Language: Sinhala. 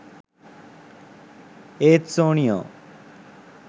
ඒත් සෝනියෝ